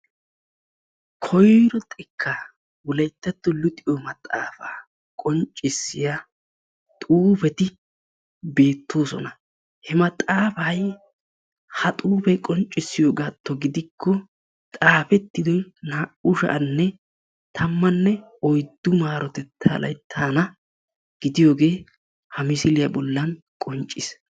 koyro xekkaa wolayttattuwaa luxxiyo maxaafaa qonccissiya xuufeti beetosona, ha maxaafay ha xuufee qonccisiyogadan gidikko ha maxaafay naa'u sha'anne tammanne oyddu maarotettaa layttan gidiyoogee ha misilliya bolan qoncce.